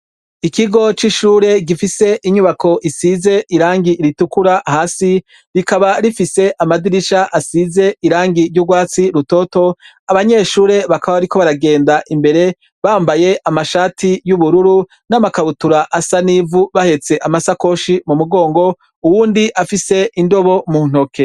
Ikigo c'ishure gifis' inyubak' isiz' irangi ritukura hasi, rikaba rifis' amadirish' asiz' irangi ry' ugwatsi rutoto, abanyeshure bakaba bariko baragend' imbere bambay' amashati y' ubururu n' amakabutur' asa n' ivu bahets' amasakoshi mu mugongo, uwund' afis' indobo mu ntoke.